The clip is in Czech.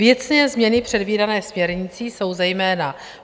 Věcné změny předvídané směrnicí jsou zejména: